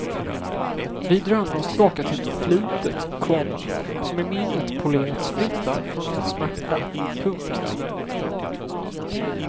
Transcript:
Vi drömmer oss tillbaka till ett förflutet, komma som i minnet polerats fritt från all smärta. punkt